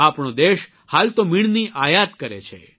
આપણો દેશ હાલ તો મીણની આયાત કરે છે